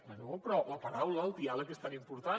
bé però la paraula el diàleg que és tan important